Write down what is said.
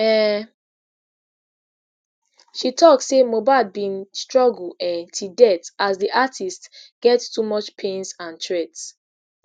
um she tok say mohbad bin struggle um till death as di artiste get too much pains and threat